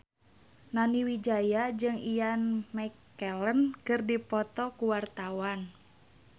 Nani Wijaya jeung Ian McKellen keur dipoto ku wartawan